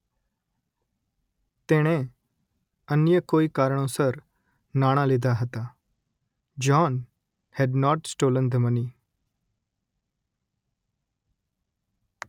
તેણે અન્ય કોઇ કારણોસર નાણાં લીધાં હતાં John had not stolen the money